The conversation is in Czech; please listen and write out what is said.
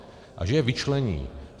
A že je vyčlení.